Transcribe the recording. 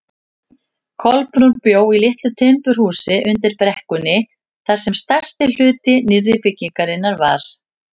Kolbrún bjó í litlu timburhúsi undir brekkunni þar sem stærsti hluti nýrri byggðarinnar var.